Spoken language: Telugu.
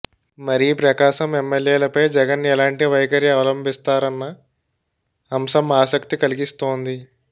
మరీ ప్రకాశం ఎమ్మెల్యేలపై జగన్ ఎలాంటి వైఖరి అవలంభిస్తారన్న అంశం ఆసక్తి కలిగిస్తోంది